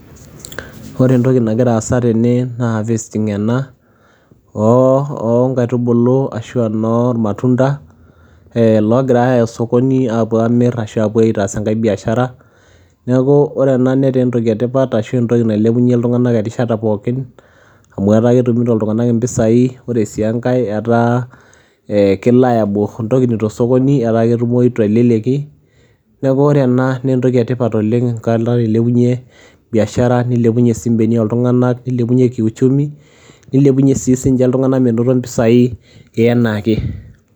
Ore entoki nagira aasa tene naa harvesting ena oo oo nkaitubulu ashu enormatunda ee loogirai aaya osokoni aapuo aamir ashu aapuo aitas enkae biashara. Neeku ore ena netaa entoki e tipat ashu entoki nailepunye iltung'anak erishata pookin amu etaa ketumito iltung'anak impisai,. Ore sii enkae etaa ee ke liable intokitin to osokoni etaa ketumoyu te leleki, neeku ore ena nee entoki e tipat oleng' kadol ilepunye biashara, nilepunye sii imbeniak ooltung'anak. nilepunye kiuchumi, nilepunye sii sinche iltung'anak minoto impisai enaa ake.